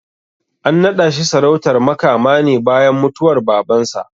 An naɗa shi sarautar Makama ne bayan mutuwar Babansa.